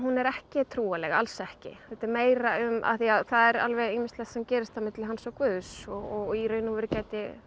er ekki trúarleg alls ekki þetta er meira um af því það er ýmislegt sem gerist milli hans og Guðs og í raun og veru gæti